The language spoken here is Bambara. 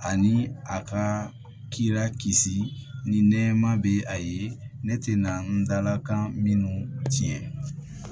Ani a ka kira kisi ni nɛɛma bɛ a ye ne tɛ na n dala kan minnu tiɲɛ